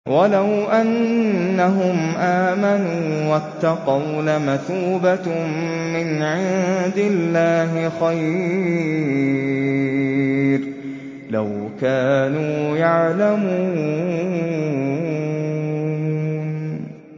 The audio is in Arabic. وَلَوْ أَنَّهُمْ آمَنُوا وَاتَّقَوْا لَمَثُوبَةٌ مِّنْ عِندِ اللَّهِ خَيْرٌ ۖ لَّوْ كَانُوا يَعْلَمُونَ